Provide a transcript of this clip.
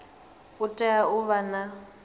u tea u vha na